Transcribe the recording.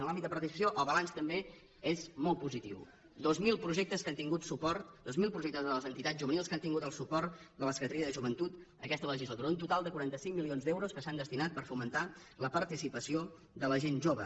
en l’àmbit de participació el balanç també és molt positiu dos mil projectes que han tingut suport dos mil projectes de les entitats juvenils que han tingut el suport de la secretaria de joventut aquesta legislatura un total de quaranta cinc milions d’euros que s’han destinat per fomentar la participació de la gent jove